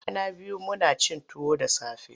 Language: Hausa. Kwana biyu muna cin tuwo da safe.